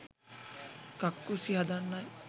කක්කුස්සි හදන්නයි